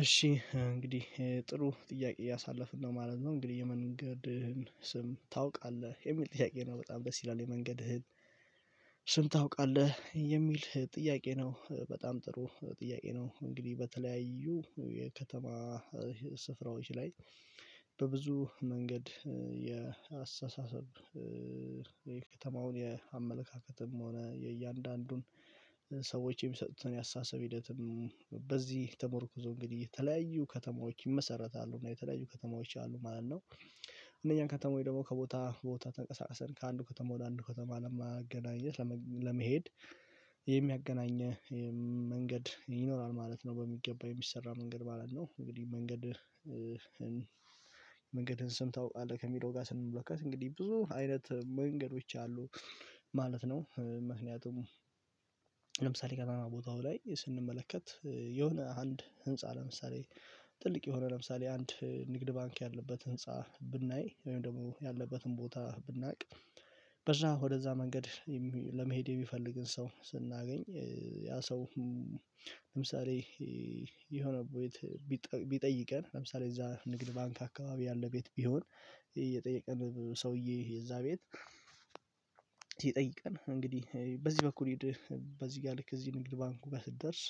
እሺ እንግዲህ ጥሩ ጥያቄ እያሳለፍን ነው ማለት ነው እንግዲህ የመንገድህን ስም ታውቃለህ የሚል ጥያቄ ነው በጣም ደስ ይላል የመንገድህን ስም ታውቃለህ የሚል ጥያቄ ነው። በጣም ጥሩ ጥያቄ ነው። እንግዲህ በተለያዩ የከተማ ስፍራዎች ላይ በብዙ መንገድ የአስተሳሰብ የከተማውን የአመለካከትም ሆነ የእያንዳንዱን ሰዎችን የሚሰጡትን ያስተሳሰብ ሂደትም በዚህ ተመርኩዞ እንግዲህ የተለያዩ ከተማዎች ይመሰረታሉ እና የተለያዩ ከተማዎች አሉ ማለት ነው። እነኛን ከተማወች ደግሞ ከቦታ ቦታ ተንቀሳቀሰን ከአንድ ከተማ አንድ ከተማ ለማገናኘት ለመሄድ የሚያገናኘው መንገድ ይኖራል ማለት ነው። በሚገባ የሚሰራ መንገድ ማለት ነው እንግዲህ መንገድ መንገድን ስም ታውቃለህ ከሚለው ጋር ስንመለከት እንግዲህ ብዙ አይነት መንገዶች አሉ ማለት ነው። ምክንያቱም ገና ቦታው ላይ ስንመለከት የሆነ አንድ ህንፃ ለምሳሌ ትልቅ የሆነ ለምሳሌ አንድ ንግድ ባንክ ያለበት ህንፃ ብናይ ወይም ደግሞ ያለበትን ቦታ ብናውቅ በዛ ወደዛ መንገድ ለመሄድ የሚፈልግን ሰው ስናገኝ ያ ሰው ለምሳሌ የሆነ ቤት ቢጠይቀን ለምሳሌ እዛ ንግድ ባንክ አካባቢ ያለ ቤት ቢሆን የጠየቀን ሰውዬ የዛ ቤት ቢጠይቀን እንግዲህ በዚህ በኩል ሂደህ በዚ ጋር ልክ እዚህ ንግድ ባንኩ ስትደርስ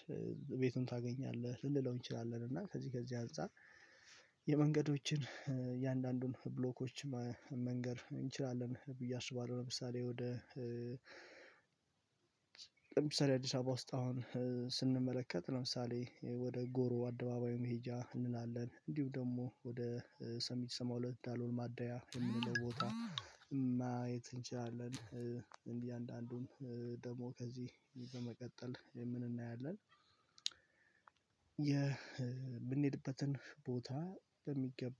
ቤቱን ታገኛለህ ልንለው እንችላለን። እና ከዚህ ከዚህ አንፃር የመንገዶችን የአንዳንዱን ብሎኮች መንገር እንችላለን ብዬ አስባለሁ። ለምሳሌ ወደ ለምሳሌ አዲስ አበባ ውስጥ አሁን ስንመለከት ለምሳሌ ወደ ጎሮ አደባባዩ መሄጃ እንላለን እንዲሁ ደግሞ ወደ ሰሚት ሰባሁለት ዳሎል ማደያ የምንለው ቦታ የት እንችላለን እንግዲህ አንዳንዱን ደግሞ ከዚህ በመቀጠል የምንናያለን የምንሄድበትን ቦታ በሚገባ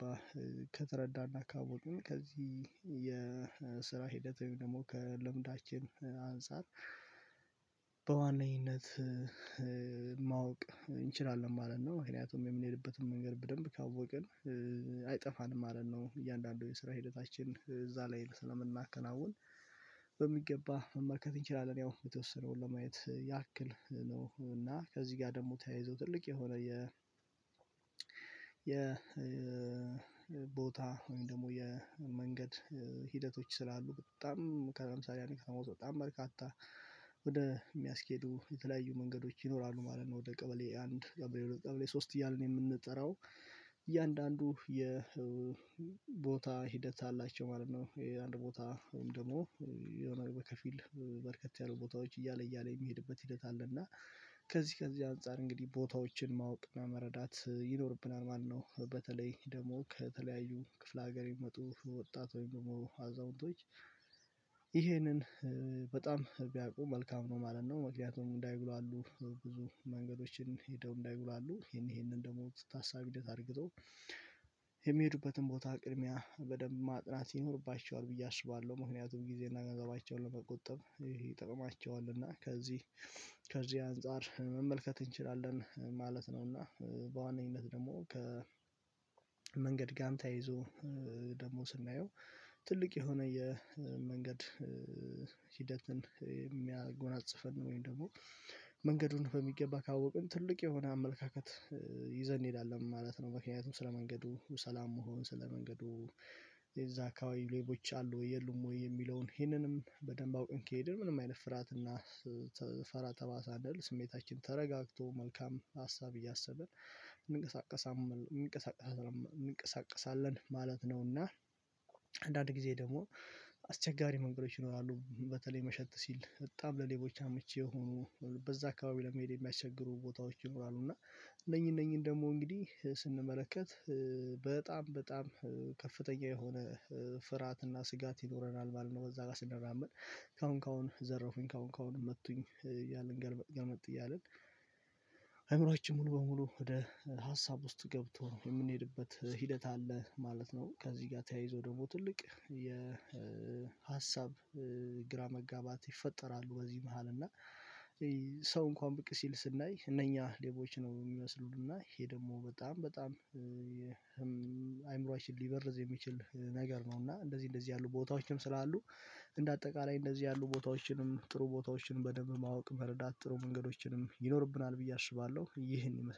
ከተረዳና አካባቢ ከዚህ የስራ ሂደት ወይም ደግሞ ከለምዳችን አንፃር በዋነኝነት ማወቅ እንችላለን ማለት ነው። ምክንያቱም የምንሄድበትን መንገድ በደንብ ካወቅን አይጠፋንም ማለት ነው። እያንዳንዱ የስራ ሂደታችን እዛ ላይ ስለምናከናውን በሚገባ መመልከት እንችላለን ያው የተወሰነውን ለማየት ያክል ነው እና ከዚህ ጋር ደግሞ ተያይዞ ትልቅ የሆነ የ ቦታ ወይም ደግሞ የመንገድ ሂደቶች ስላሉ በጣም ከምሳሌ አንድ ከሞት በጣም በርካታ የሚያስኬዱ የተለያዩ መንገዶች ይኖራሉ ማለት ነው። ወደ ቀበሌ አንድ ቀበሌ ሁለት ቀበሌ ሶስት እያልን የምንጠራው እያንዳንዱ የ የቦታ ሂደት አላቸው ማለት ነው። የአንድ ቦታ ወይም ደግሞ የሆነ በከፊል በርከት ያሉ ቦታዎች እያለ እያለ የሚሄድበት ሂደት አለ እና ከዚህ ከዚህ አንፃር እንግዲህ ቦታዎችን ማወቅ እና መረዳት ይኖርብናል ማለት ነው። በተለይ ደግሞ ከተለያዩ ክፍለ ሀገር ይመጡ ወጣት ወይም ደግሞ አዛውንቶች ይሄንን በጣም ቢያውቁ መልካም ነው ማለት ነው። ምክንያቱም እንዳይጉላሉ ብዙ መንገዶችን ሄደው እንዳይጉላሉ ይሄንን ደግሞ ታሳቢነት እንደታርገው የሚሄዱበትን ቦታ ቅድሚያ በደንብ ማጥናት ይኖርባቸዋል ብዬ አስባለሁ ምክንያቱም ጊዜና ገንዘባቸውን ለመቆጠብ ይጠቅማቸወልና ከዚህ ከዚህ አንፃር መመልከት እንችላለን ማለት ነው። እና በዋነኝነት ደግሞ ከ ጋር ተያይዞ ደግሞ ስናየው ትልቅ የሆነ የመንገድ ሂደትን የሚያጎናጽፈን ወይም ደግሞ መንገዱን በሚገባ ካወቅን ትልቅ የሆነ አመለካከት ይዘን እንሄዳለን ማለት ነው። ምክንያቱም ስለመንገዱ ሰላም መሆን ስለ መንገዱ የዛ አካባቢ ሌቦች አሉ የሉም ወይ የሚለውን ይሄንንም በደንብ አውቅን? ከሄድን ምንም አይነት ፍርሃትና ፈራ ተባ ሳንል ስሜታችን ተረጋግቶ መልካም ሀሳብ እያሰብን እንቀሳቀሳለን ማለት ነውና። አንዳንድ ጊዜ ደግሞ አስቸጋሪ መንገዶች ይኖራሉ በተለይ መሸት ሲል በጣም ለሌቦች አመቺ የሆኑ በዛ አካባቢ ለመሄድ የሚያስቸግሩ ቦታዎች ይኖራሉ እና እነኚህ እነኚህ ደግሞ እንግዲህ ስንመለከት በጣም በጣም ከፍተኛ የሆነ ፍርሃትና ስጋት ይኖረናል ማለት ነው። በዛ ጋር ስንራመድ ካሁን ካሁን ዘረፉኝ ካሁን ካሁን መቱኝ እያልን ገልመጥ ገልመጥ እያልን ሙሉ በሙሉ ወደ ሀሳብ ውስጥ ገብቶ የምንሄድበት ሂደት አለ ማለት ነው። ከዚህ ጋር ተያይዞ ደግሞ ትልቅ የ ሀሳብ ግራ መጋባት ይፈጠራሉ በዚህ መሃል እና ሰው እንኳን በቅ ሲል ስናይ እነኛ ሌቦች ነው የሚመስሉን እና ይሄ ደግሞ በጣም በጣም አይምሮአችን ሊበርዝ የሚችል ነገር ነው። እና እንደዚህ እንደዚህ ያሉ ቦታዎችም ስላሉ አጠቃላይ እንደዚህ ያሉ ቦታዎችንም ጥሩ ቦታዎችንም በደንብ ማወቅ መረዳት ጥሩ መንገዶችንም ይኖርብናል ብዬ አስባለሁ ይህን ይመስላል